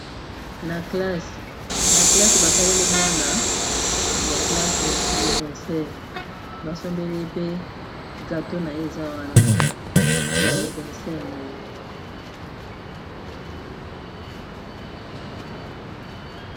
na classe basaleli mwana ya classe ya anniversere basombeli pe gato na ye eza wana ya aniversere na ye